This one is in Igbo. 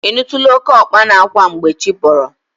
Ị nụtụla oke ọkpa na-akwa mgbe chi bọrọ?